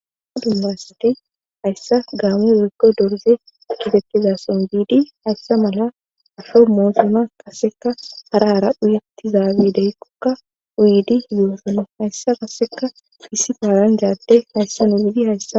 aha dumbasati hayssa gaamo woykko dorze kitekizason giidi hayssa mala asho moosona kaseka hara hara dhuyettizaabi deykkokka wiidi hiyoosone hayssa kaseka isi paalan jaadde hayssin wiidi hayssa